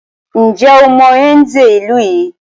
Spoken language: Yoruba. Ǹjẹ́ o mọ Nze ìlú yìí?